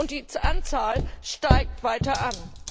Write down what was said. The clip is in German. Die Anzahl steigt weiter an.